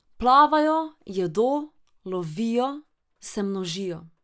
Plavajo, jedo, lovijo, se množijo.